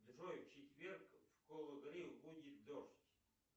джой в четверг в кологрив будет дождь